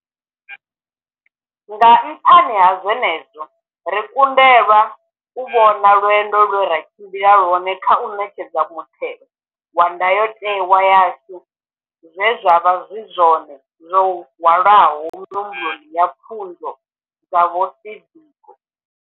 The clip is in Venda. Nga nṱhani ha zwenezwo, ri kundelwa u vhona lwendo lwe ra tshimbila lwone kha u ṋetshedza mutheo wa ndayotewa yashu zwe zwavha zwi zwone zwo hwalaho mihumbulo na pfunzo dza vho Steve Biko.